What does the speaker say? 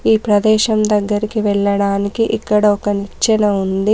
ఈ ప్రదేశం దగ్గరికి వెళ్ళడానికి ఇక్కడ ఒక నిచ్చెన ఉంది.